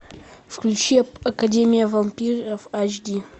включи академия вампиров айч ди